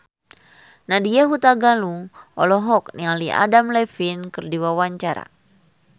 Nadya Hutagalung olohok ningali Adam Levine keur diwawancara